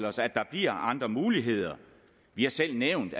os at der bliver andre muligheder vi har selv nævnt